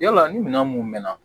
Yala ni minɛn mun mɛn na